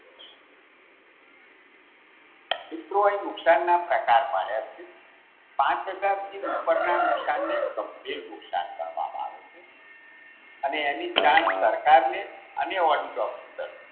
મિત્રો અહીં નુકશાનના પ્રકાર પાડ્યા છે. પાંચ હજારથી ઉપરના નુકશાનને તબધીર નુકશાન ગણવામાં આવે છે. અને એની જાણ સરકારને અને audit ઓફિસરને